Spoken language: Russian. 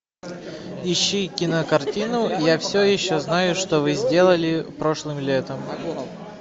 ищи кинокартину я все еще знаю что вы сделали прошлым летом